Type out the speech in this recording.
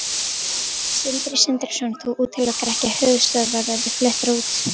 Sindri Sindrason: Þú útilokar ekki að höfuðstöðvar verði fluttar út?